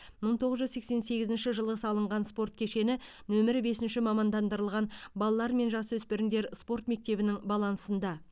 мың тоғыз жүз сексен сегізінші жылы салынған спорт кешені нөмірі бесінші мамандандырылған балалар мен жасөспірімдер спорт мектебінің балансында